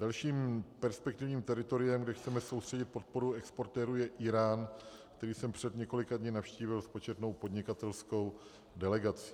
Dalším perspektivním teritoriem, kde chceme soustředit podporu exportérů, je Írán, který jsem před několika dny navštívil s početnou podnikatelskou delegací.